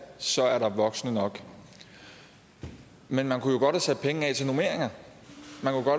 så er der voksne nok men man kunne jo godt have sat penge af til normeringer